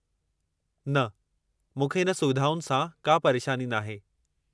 न, मूंखे हिन सुविधाउनि सां का परेशानी नाहे।